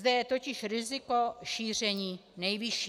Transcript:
Zde je totiž riziko šíření nejvyšší.